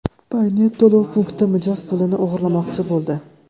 Paynet to‘lov punkti mijoz pulini o‘g‘irlamoqchi bo‘ldi.